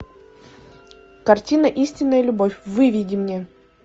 картина истинная любовь выведи мне